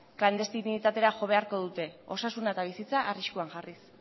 klandestinitatera jo beharko dute osasuna eta bizitza arriskuan jarriz